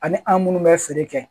Ani an minnu bɛ feere kɛ